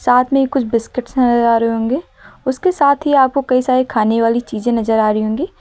साथ में कुछ बिस्किट्स है नजर आ रहे होंगे उसके साथ ही आपको कई सारे खाने वाली चीजें नजर आ रही होंगी।